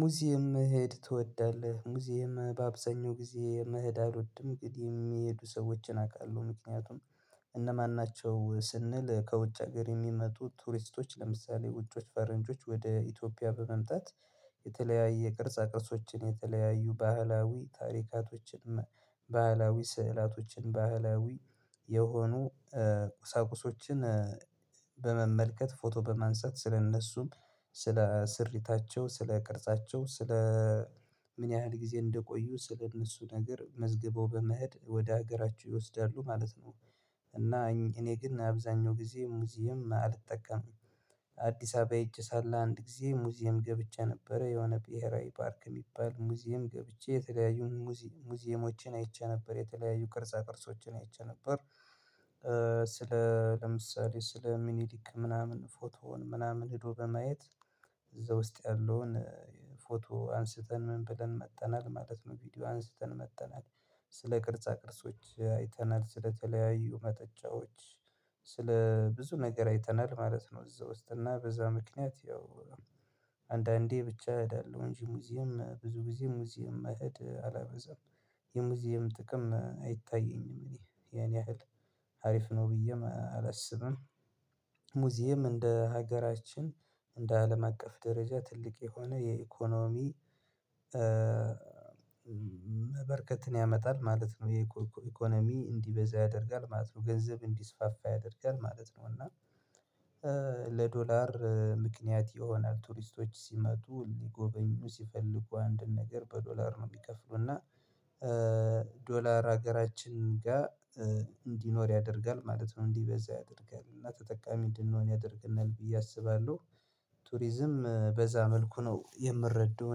ሙዚየም መሄድ ትወዳለህ? ሙዚየም በአብዛኛው ጊዜ መሄድ አልወድም ግን የሚሄዱ ሰዎችን አውቃለሁ ምክንያቱም እነማን ናቸው? ስንል ከውጭ ሀገር የሚመጡ ቱሪስቶች ለምሳሌ ውጭዎች ፈረንጆች ወደ ኢትዮጵያ በመምጣት የተለያየ የቅርጻ ቅርጾችን የተለያዩ ባህላዊ ታሪካቶችን ባህላዊ ስዕላቶችን ባህላዊ የሆኑ ቁሳቁሶችን በመመልከት ፎቶ በማንሳት ስለእነሱም ስለ ስሪታቸው ስለ ቅርጻቸው ስለ ምን ያህል ጊዜ እንደቆዩ ስለ እነሱ ነገር መዝግበው በመሄድ ወደ ሀገራቸው ይወስዳሉ ማለት ነው። እና እኔ ግን አብዛኛው ጊዜ ሙዚየም አልጠቀምም። አዲስ አበባ ሄጄ ሳለ አንድ ጊዜ ሙዚየም ገብቼ ነበረ የሆነ ብሄራዊ ፓርክ እሚባል ሙዚየም ገብቼ የተለያዩ መዚየም ሙዚየሞችን አይቼ ነበር የተለያዩ ቅርጻ ቅርጾችን አይቼ ነበር። ስለ ለምሳሌ ስለ ሚኒሊክ ምናምን ፎቶውን ምናምን ሄዶ በማየት እዛ ውስጥ ያለውን ፎቶ አንስተን ምን ብለን መጥተናል ማለት ነው። ቪዲዮ አንስተን መጥተናል። ስለ ቅርጻ ቅርጾች አይተናል ስለተለያዩ መጠጫዎች ስለ ብዙ ነገር አይተናል ማለት ነው። እዛ ውስጥ እና በዛ ምክንያት ያው አንዳንዴ ብቻ እሄዳለሁ እንጂ ሙዚየም ብዙ ጊዜ ሙዚየም መሄድ አላበዛም። የሙዚየም ጥቅም አይታየኝም ያን ያህል ሀሪፍ ነው ብዬም አላስብም። ሙዚየም እንደ ሀገራችን እንደ አለም አቀፍ ደረጃ ትልቅ የሆነ የኢኮኖሚ በርከትን ያመጣል ማለት ነው። የኢኮኖሚ እንዲበዛ ያደርጋል ማለት ነው። ገንዘብ እንዲስፋፋ ያደርጋል ማለት ነው። እና ለዶላር ምክንያት ይሆናል ቱሪስቶች ሲመጡ ሊጎበኙ ሲፈልጉ አንድ ነገር በዶላር ነው የሚከፍሉ እና። ዶላር ሀገራችን ጋር እንዲኖር ያደርጋል ማለት ነው። እንዲበዛ ያደርጋል እና ተጠቃሚ እንድንሆን ያደርገናል ብዬ አስባለሁ። ቱሪዝም በዛ መልኩ ነው የምረዳው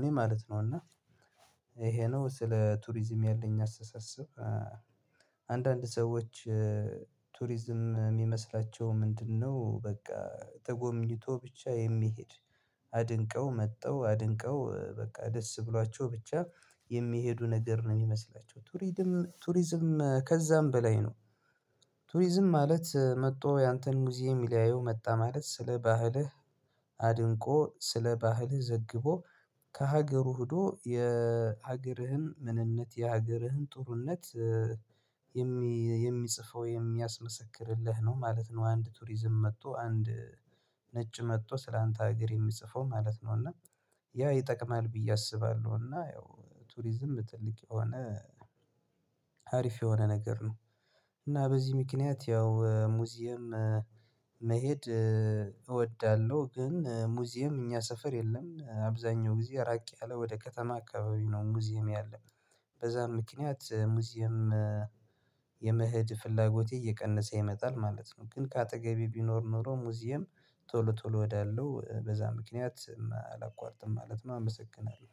እኔ ማለት ነው። እና ይሄ ነው ስለ ቱሪዝም ያለኝ አስተሳሰብ። አንዳንድ ሰዎች ቱሪዝም እሚመስላቸው ምንድነው? በቃ ተጎምኝቶ ብቻ የሚሄድ አድንቀው መጥተው አድንቀው በቃ ደስ ብሏቸው ብቻ የሚሄዱ ነገር ነው የሚመስላቸው ቱሪድም ቱሪዝም ከዛም በላይ ነው። ቱሪዝም ማለት መጥቶ ያንተን ሙዚየም ሊያዩ መጣ ማለት ስለ ባህልህ አድንቆ ስለ ባህልህ ዘግቦ ከሀገሩ ሄዶ የሀገርህን ምንነት የሀገርህን ጥሩነት የሚጽፈው የሚያስመሰክርልህ ነው ማለት ነው። አንድ ቱሪዝም መጥቶ አንድ ነጭ መጥቶ ስላንተ ሀገር የሚጽፈው ማለት ነው። እና ያው ይጠቅማል ብዬ አስባለሁ። እና ያው ቱሪዝም ትልቅ የሆነ ሀሪፍ የሆነ ነገር ነው። እና በዚህ ምክንያት ያው ሙዚየም መሄድ እወዳለሁ። ግን ሙዚየም እኛ ሰፈር የለም አብዛኛው ጊዜ ራቅ ያለ ወደ ከተማ አካባቢ ነው ሙዚየም ያለ በዛም ምክንያት ሙዚየም የመሄድ ፍላጎቴ እየቀነሰ ይመጣል ማለት ነው። ግን ከአጠገቤ ቢኖር ኖሮ ሙዚየም ቶሎ ቶሎ ሄዳለው በዛ ምክንያት አላቋርጥም ማለት ነው። አመሰግናለሁ